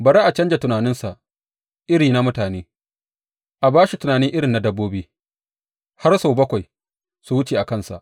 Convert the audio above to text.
Bari a canja tunaninsa irin na mutane a ba shi tunani irin na dabbobi, har sau bakwai su wuce a kansa.